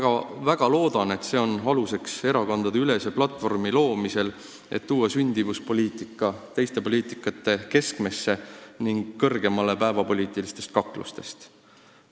Ma väga loodan, et see on erakondadeülese platvormi loomise aluseks, et tuua sündimuspoliitika teiste poliitikate keskmesse ning päevapoliitilistest kaklustest kõrgemale.